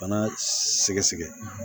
Bana sɛgɛsɛgɛ